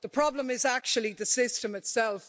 The problem is actually the system itself.